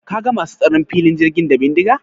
Ka ga masu tsaron filin jirgin da bindiga?